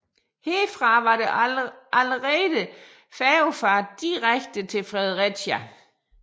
Herfra var der allerede færgefart direkte til Fredericia